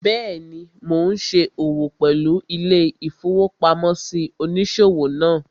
Bẹ́ẹ̀ni, mo n ṣe òwò pẹ̀lú ilé-ìfowópamósí òníṣòwò náà